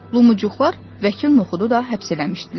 Lumuçuqlar vəkil Noxudu da həbs eləmişdilər.